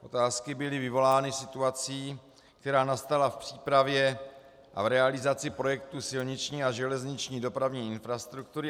Otázky byl vyvolány situací, která nastala v přípravě a v realizaci projektu silniční a železniční dopravní infrastruktury.